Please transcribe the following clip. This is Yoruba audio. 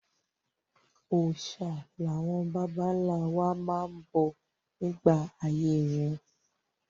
Òòṣà làwọn bàbá-ńlá wa bọ nígbà ayé wọn.